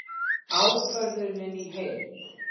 Ákvörðunin í heild